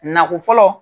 Nako fɔlɔ